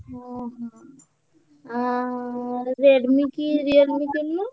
ଓହୋ ଓହୋ Redmi କି Realme କିଣୁନୁ?